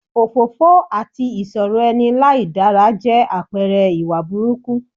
Òfófófó àti ìsọ̀rọ̀ ẹni láìdára jẹ́ àpẹ̀rẹ ìwà burúkú